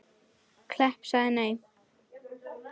Klepp en ég sagði nei.